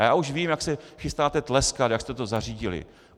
A já už vím, jak se chystáte tleskat, jak jste to zařídili.